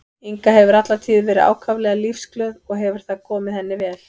Inga hefur alla tíð verið ákaflega lífsglöð og hefur það komið henni vel.